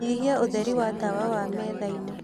nyĩhĩa ũtherĩ wa tawa wa methaĩnĩ